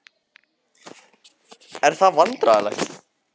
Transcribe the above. Karen: Er það vandræðalegt?